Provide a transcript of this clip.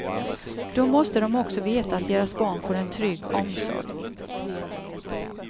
Då måste de också veta att deras barn får en trygg omsorg.